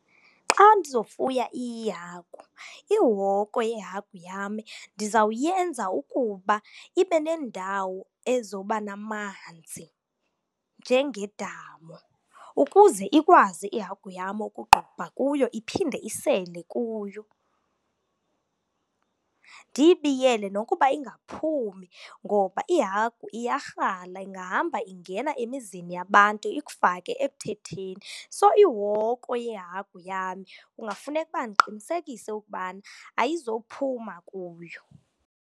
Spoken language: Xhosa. Xa ndizofuya iihagu, ihoko yehagu yam ndizawuyenza ukuba ibe nendawo ezoba namanzi njengedamu ukuze ikwazi ihagu yam ukuqubha kuyo iphinde isele kuyo. Ndiyibiyele nokuba ingaphumi ngoba ihagu iyarhala, ingahamba ingena emizini yabantu ikufake ekuthetheni. So, ihoko yehagu yam kungafuneka ukuba ndiqinisekise ukubana ayizophuma kuyo.